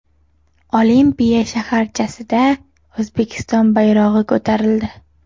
Olimpiya shaharchasida O‘zbekiston bayrog‘i ko‘tarildi.